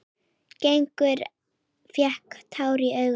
Gerður fékk tár í augun.